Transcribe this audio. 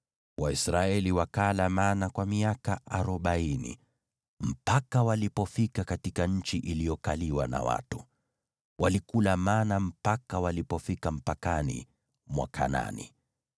Waisraeli wakala mana kwa miaka arobaini, mpaka walipofika katika nchi iliyokaliwa na watu; walikula mana hadi walipofika mpakani mwa Kanaani.